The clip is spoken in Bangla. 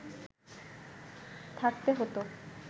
থাকতে হতো